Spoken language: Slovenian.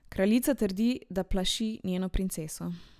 Kraljica trdi, da plaši njeno princeso.